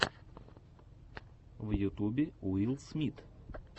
в ютубе уилл смит